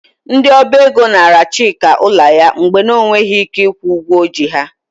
Ndị Ọba ego naara Chika ụlọ ya mgbe ọ na-enweghị ike ịkwụ ụgwọ o ji ha.